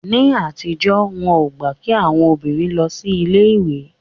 Ní àtijọ́, wọn ò gbà kí àwọn obìnrin lọ sí ilé ìwé